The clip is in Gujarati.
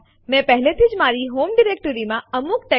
ક્યારેક આપણે એ ચકાસવું જરૂરી હોય છે કે બે ફાઈલો સમાન છે